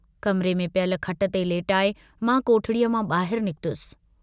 कमिरे में पियल खट ते लेटाए मां कोठड़ीअ मां बाहिर निकतुसि।